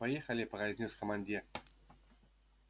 поехали произнёс командир